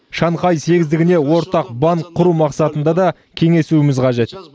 шанхай сегіздігіне ортақ банк құру мақсатында да кеңесуіміз қажет